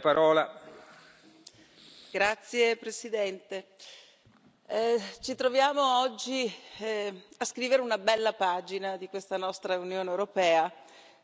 Signor Presidente, onorevoli colleghi, ci troviamo oggi a scrivere una bella pagina di questa nostra Unione europea,